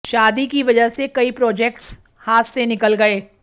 शादी की वजह से कई प्रोजेक्ट्स हाथ से निकल गए